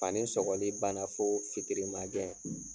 Fani sɔgɔli banna fo fitirima gɛn.